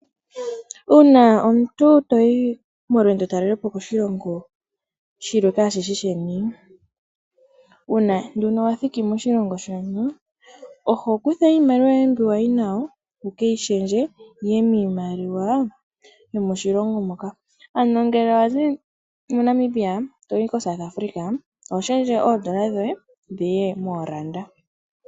Uuna omuntu to yi molwendotalele po koshilongo kaas shi shi sheni, uuna nduno wa thiki moshilongo shono oho kutha iimaliwa yoye mbi wa yi nayo wu ke yi shendje yi ye miimaliwa yomoshilongo moka. Ano ngele wa zi moNamibia to yi moSouth Africa oho shendje oodola dhoye dhi ye mooranda.